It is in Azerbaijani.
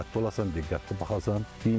Ona diqqətli olasan, diqqətli baxasan.